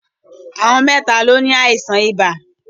Àwọn mẹ́ta ló ní àìsàn ibà.